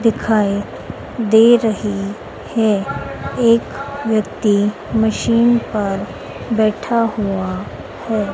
दिखाएं दे रही है एक व्यक्ति मशीन पर बैठा हुआ है।